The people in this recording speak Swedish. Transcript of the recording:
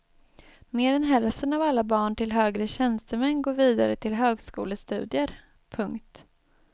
Mer än hälften av alla barn till högre tjänstemän går vidare till högskolestudier. punkt